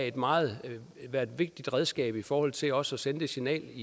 et meget vigtigt redskab i forhold til også at sende det signal